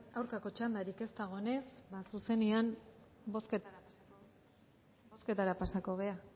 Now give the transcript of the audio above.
aurkako txandarik ez dagoenez ba zuzenean bozketara pasatuko gara